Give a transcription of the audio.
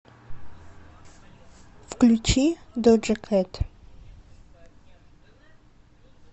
включи доджа кэт